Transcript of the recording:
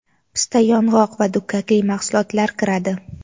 pista-yong‘oq va dukkakli mahsulotlar kiradi.